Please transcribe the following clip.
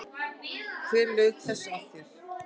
Hver laug þessu að þér?